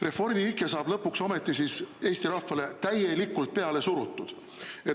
Reformi ike saab lõpuks ometi Eesti rahvale täielikult peale surutud.